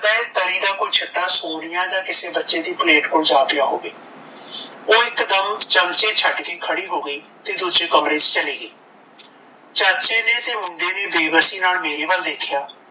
ਤਲੀ ਦਾ ਕੋਈ ਛਿੱਠਾ ਸੋਨੀਆ ਦੇ ਕਿਸੇ ਬੱਚੇ ਦੀ ਪਲੇਟ ਕੋਲ ਜਾ ਪਿਆ ਹੋਵੇ। ਓਹ ਇੱਕ ਦਮ ਚਮਚੇ ਛੱਡ ਕੇ ਖੜੀ ਹੋ ਗਈ ਤੇ ਦੂਜੇ ਕਮਰੇ ਵਿੱਚ ਚਲੀ ਗਈ। ਚਾਚੇ ਨੇ ਤੇ ਮੁੰਡੇ ਨੇ ਬੇਬਸੀ ਨਾਲ ਮੇਰੇ ਵੱਲ ਦੇਖਿਆ